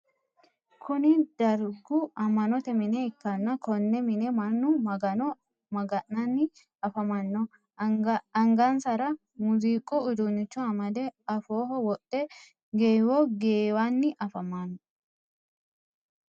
Kunni dargu ama'note mine ikanna Konne mine mannu magano maga'nanni afamano angansara muuziiqu uduunicho amade afooho wodhe geewo geewanni afamano.